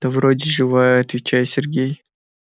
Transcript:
да вроде живая отвечает сергей